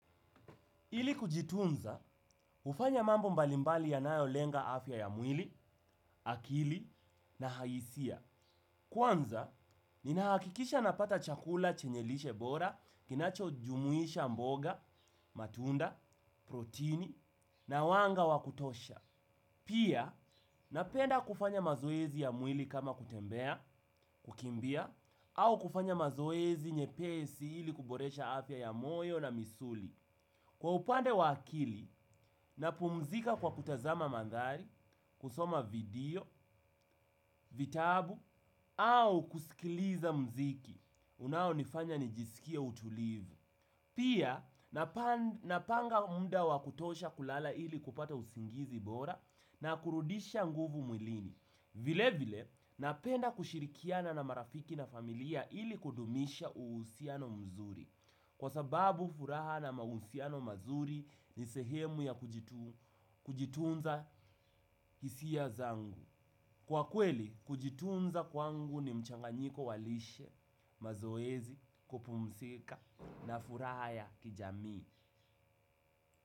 Ili kujitunza, ufanya mambo mbalimbali yanayolenga afya ya mwili, akili, na haisiya. Kwanza, ninahakikisha napata chakula chenye lishe bora, kinachojumuisha mboga, matunda, protini, na wanga wa kutosha. Pia, napenda kufanya mazoezi ya mwili kama kutembea, kukimbia, au kufanya mazoezi nyepesi ili kuboresha afya ya moyo na misuli. Kwa upande wa akili, napumzika kwa kutazama mandhari, kusoma video, vitabu, au kusikiliza mziki unaonifanya nijisikie utulivu. Pia, napanga muda wa kutosha kulala ili kupata usingizi bora na kurudisha nguvu mwilini. Vile vile, napenda kushirikiana na marafiki na familia ili kudumisha uhusiano mzuri. Kwa sababu furaha na mahusiano mazuri ni sehemu ya kujitunza hisiya zangu. Kwa kweli, kujitunza kwangu ni mchanganyiko wa lishe, mazoezi, kupumsika na furaha ya kijami.